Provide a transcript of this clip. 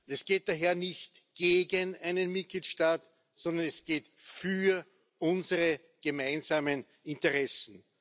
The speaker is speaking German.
Es geht daher nicht gegen einen Mitgliedstaat, sondern wir kämpfen für unsere gemeinsamen Interessen.